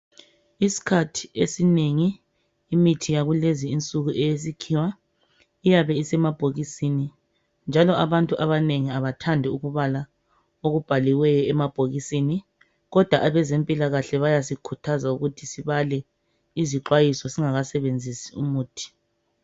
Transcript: Isikhathi esinengi imithi yakulezi insuku eyesikhiwa iyabe isemabhokisini njaoo abantu abanengi abathandi ukubala okubhaliweyo emabhokisini kodwa abezempilakahle bayasikhuthaza ukuthi sibale izixwayiso singakasebenzisi umuthi.